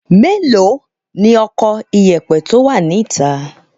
Mélòó ni ọkọ ìyẹ̀pẹ̀ tó wà níta?